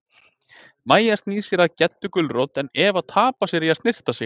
Mæja snýr sér að Geddu gulrót en Eva tapar sér í að snyrta sig.